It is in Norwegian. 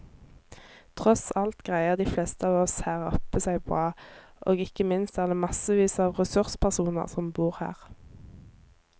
Tross alt greier de fleste av oss her oppe seg bra, og ikke minst er det massevis av ressurspersoner som bor her.